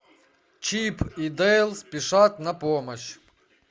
чип и дейл спешат на помощь